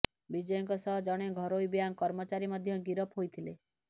ବିଜୟଙ୍କ ସହ ଜଣେ ଘରୋଇ ବ୍ୟାଙ୍କ କର୍ମଚାରୀ ମଧ୍ୟ ଗିରଫ ହୋଇଥିଲେ